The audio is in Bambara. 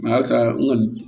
halisa n kɔni